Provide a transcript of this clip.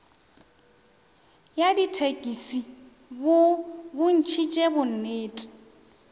ya dithekisi bo bontšhitše bonnete